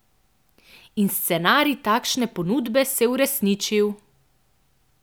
In scenarij takšne ponudbe se je uresničil!